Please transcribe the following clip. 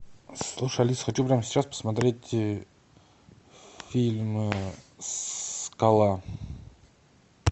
слушай алиса хочу прямо сейчас посмотреть фильм скала